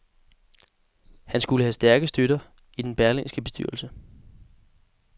Han skulle have stærke støtter i den berlingske bestyrelse.